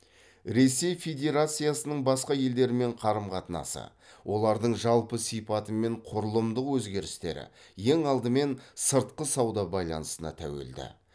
ресей федерациясының басқа елдермен қарым қатынасы олардың жалпы сипаты мен құрылымдық өзгерістері ең алдымен сыртқы сауда байланысына тәуелді